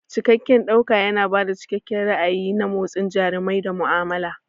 Cikakken ɗauka yana ba da cikakken ra'ayi na motsin jarumai da mu'amala.